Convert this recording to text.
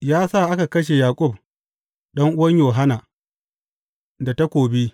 Ya sa aka kashe Yaƙub, ɗan’uwan Yohanna, da takobi.